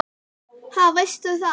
Ha, veistu það?